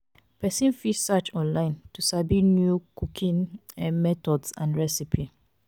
persin fit search online to sabi new cooking um methods and recipe